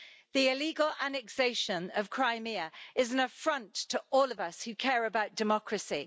The illegal annexation of Crimea is an affront to all of us who care about democracy.